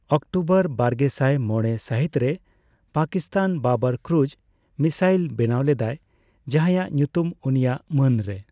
October ᱵᱟᱨᱜᱮᱥᱟᱭ ᱢᱚᱲᱮ ᱥᱟᱹᱦᱤᱛ ᱨᱮ, ᱯᱟᱠᱤᱥᱛᱟᱱ ᱵᱟᱵᱚᱨ ᱠᱨᱩᱡᱽ ᱢᱤᱥᱟᱭᱤᱞ ᱵᱮᱱᱟᱣ ᱞᱮᱫᱟᱭ, ᱡᱟᱦᱟᱸᱭᱟᱜ ᱧᱩᱛᱩᱢ ᱩᱱᱤᱭᱟᱜ ᱢᱟᱹᱱᱨᱮ ᱾